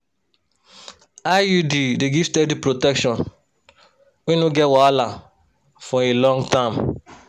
iud dey give steady protection wey no get wahala for a long time.